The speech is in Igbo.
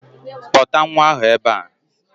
Kpọta nwa ahụ ebe a!